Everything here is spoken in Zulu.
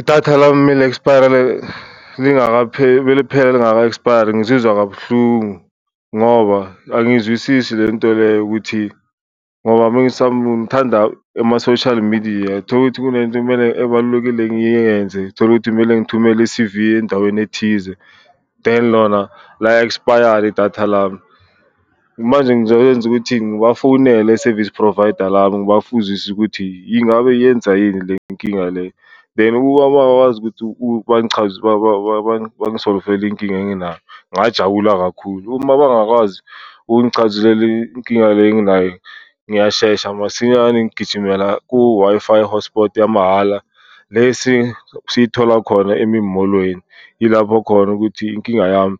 Idatha lami expire meliphela lingaka expire-ri ngizizwa kabuhlungu ngoba angiyizwisisi lento le ukuthi ngoba ngithanda ama-social media, tholukuthi kunento kumele ebalulekile ngiyenze, tholukuthi kumele ngithumele i-C_V endaweni ethize. Than lona la-expire-ra idatha lami manje ngizoyenza ukuthi ngibafowunele e-service provider lami ngibafuzise ukuthi ingabe yenza yini le nkinga le kuba bangakwazi ukuthi bangisolivele inkinga enginayo ngajabula kakhulu. Uma bangakwazi ukungichazisela inkinga le enginaye ngiyashesha masinyane, ngigijimela ku-Wi-Fi hotsport yamahhala lesi siyithola khona emolweni yilapho khona ukuthi inkinga yami